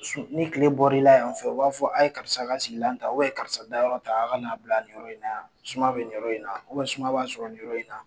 Ni tile bɔra la yan fɛ u b'a fɔ a ye karisa lasigi yanfɛ ye karisa da yɔrɔ ta aw ka n'a bila nin yɔrɔ in na suma bɛ nin yɔrɔ in na suma b'a sɔrɔ nin yɔrɔ na.